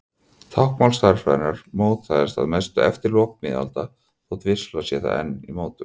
Táknmál stærðfræðinnar mótaðist að mestu eftir lok miðalda þótt vissulega sé það enn í mótun.